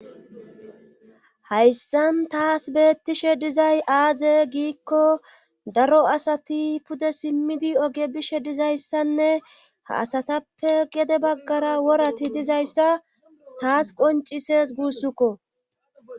hayssan taas beettishe dizay aaze giikko daro asati pude simmidi oge bishe dizayssanne ha asatappe gede baggara worati dizayssa taas qoncises guussukko